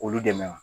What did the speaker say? Olu dɛmɛ